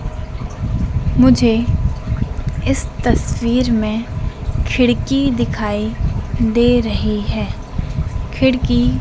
मुझे इस तस्वीर में खिड़की दिखाई दे रही है खिड़की--